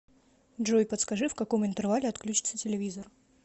джой подскажи в каком интервале отключится телевизор